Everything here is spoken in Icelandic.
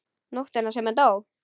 Nóttina sem hann dó?